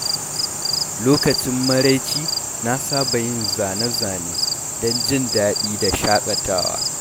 Lokacin maraice, na saba yin zane-zane don jin daɗi da shakatawa.